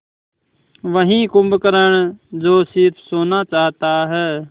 वही कुंभकर्ण जो स़िर्फ सोना चाहता है